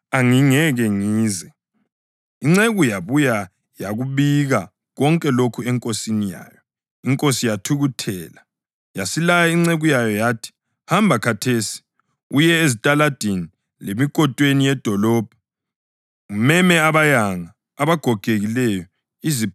Inceku yabuya yakubika konke lokhu enkosini yayo. Inkosi yathukuthela yasilaya inceku yayo yathi, ‘Hamba khathesi, uye ezitaladini lemikotweni yedolobho umeme abayanga, abagogekileyo, iziphofu labaqhulayo.’